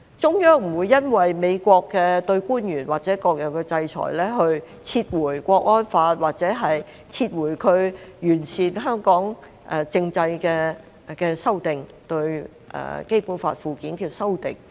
中央不會因為美國對官員或各樣的制裁，而撤回《香港國安法》或撤回它完善香港政制的修訂——對《基本法》附件的修訂。